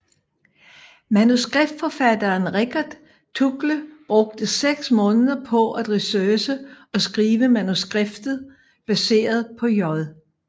Manuskriptforfatteren Richard Tuggle brugte seks måneder på at researche og skrive manuskriptet baseret på J